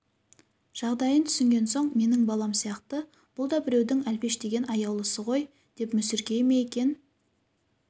жағдайын түсінген соң менің балам сияқты бұл да біреудің әлпештеген аяулысы ғой деп мүсіркей ме екен